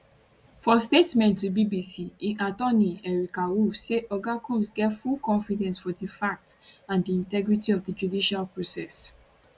for statement to bbc im attorney erica wolff say oga combs get full confidence for di facts and di integrity of di judicial process